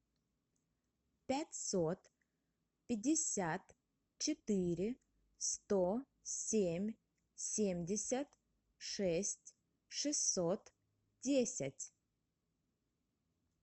пятьсот пятьдесят четыре сто семь семьдесят шесть шестьсот десять